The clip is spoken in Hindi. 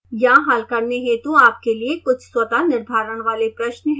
यहाँ हल करने हेतु आपके लिए कुछ स्वतः निर्धारण वाले प्रश्न हैं